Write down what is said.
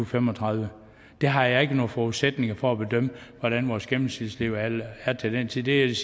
fem og tredive jeg har ikke nogen forudsætninger for at bedømme hvordan vores gennemsnitslevealder er til den tid det er det